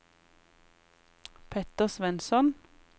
Petter Svensson